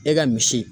E ka misi